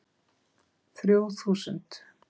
Þrjú þúsund